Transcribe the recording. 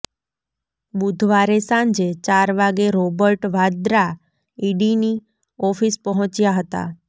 બુધવારે સાંજે ચાર વાગે રોબર્ટ વાડ્રા ઈડીની ઓફિસ પહોંચ્યા હતા